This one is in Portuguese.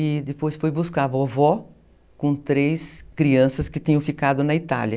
E depois foi buscar a vovó com três crianças que tinham ficado na Itália.